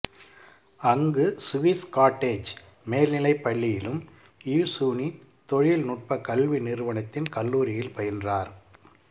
அங்கு Swiss cottage மேல்நிலைப் பள்ளியிலும் இயிசூனின் தொழில்நுட்ப கல்வி நிறுவனத்தின் கல்லூரியில் பயின்றார்